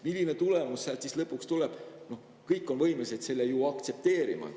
Milline tulemus siis lõpuks tuleb, seda on kõik võimelised aktsepteerima.